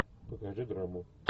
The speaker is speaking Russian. покажи драму